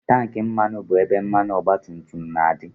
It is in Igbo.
Tankị mmanụ bụ ebe mmanụ ọgbatumtum na-adị